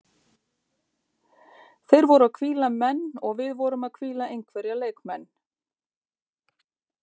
Þeir voru að hvíla menn og við vorum að hvíla einhverja leikmenn.